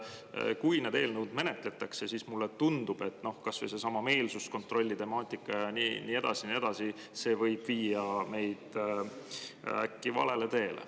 Mulle tundub, et kui neid eelnõusid menetletakse, siis kas või seesama meelsuskontrolli temaatika ja nii edasi võib viia meid valele teele.